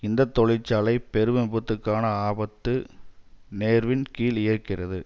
இந்த தொழிற்சாலை பெரும் விபத்துக்கான ஆபத்து நேர்வின் கீழ் இயக்கிறது